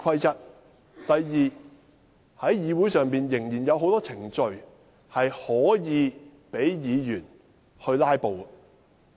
第二，議會仍有很多程序可供議員"拉布"。